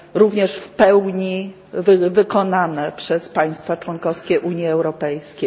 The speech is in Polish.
także w pełni wykonane przez państwa członkowskie Unii Europejskiej.